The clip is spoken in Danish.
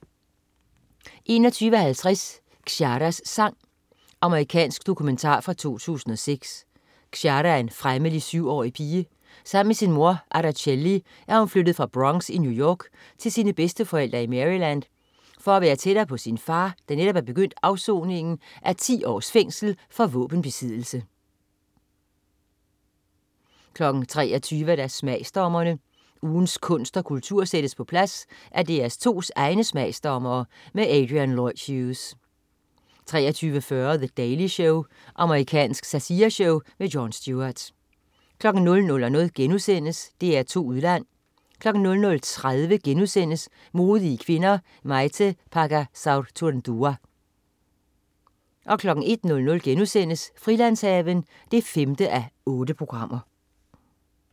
21.50 Xiaras sang. Amerikansk dokumentar fra 2006. Xiara er en fremmelig syvårig pige. Sammen med sin mor, Aracelli, er hun flyttet fra Bronx i New York til sine bedsteforældre i Maryland for at være tættere på sin far, der netop er begyndt afsoningen af 10 års fængsel for våbenbesiddelse 23.00 Smagsdommerne. Ugens kunst og kultur sættes på plads af DR2's egne smagsdommere. Adrian Lloyd Hughes 23.40 The Daily Show. Amerikansk satireshow. Jon Stewart 00.00 DR2 Udland* 00.30 Modige kvinder: Maite Pagazaurtundua* 01.00 Frilandshaven 5:8*